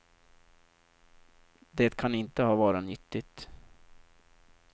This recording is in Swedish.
Det kan inte ha varit nyttigt.